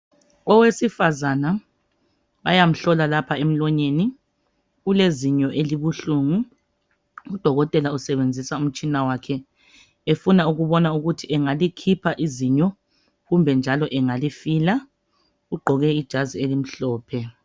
Owesifazana bayamhlola lapha emlonyeni ulezinyo elibuhlungu udokotela usebenzisa umtshina wakhe efuna ukubona ukuthi engalikhipha izinyo kumbe njalo engalifila ugqoke ijazi elimhlophe.